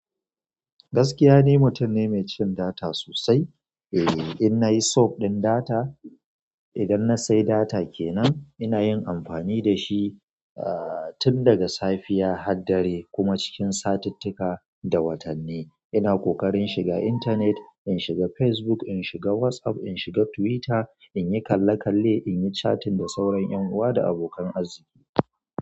Gaskiya ne, mutum ne mai cin data sosai. Eh, in nayi sub ɗin data, idan na sai data kenan, ina yin amfani da shi aa-tun daga safiya har dare kuma cikin satittika da watanni. Ina ƙoƙarin shiga intanet, in shiga Facebook, in shiga WhatsApp, in shiga Twitter, inyi kalle kalle, inyi chatting da sauran ƴan uwa da abokan arziki.